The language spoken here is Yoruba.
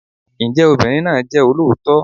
Ǹjẹ́ obìnrin náà jẹ́ olóòótọ́?